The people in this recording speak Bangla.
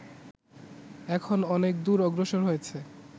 এখন অনেক দূর অগ্রসর হয়েছে